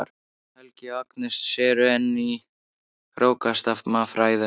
Helgi og Agnes eru enn í hrókasamræðum.